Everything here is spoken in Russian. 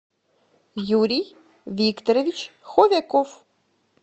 юрий викторович ховяков